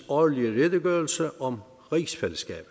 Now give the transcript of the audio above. årlige redegørelse om rigsfællesskabet